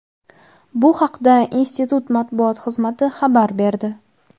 Bu haqda institut Matbuot xizmati xabar berdi.